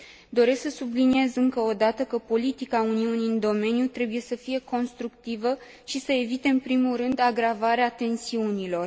Doresc să subliniez, încă o dată, că politica Uniunii în domeniu trebuie să fie constructivă și să evite, în primul rând, agravarea tensiunilor.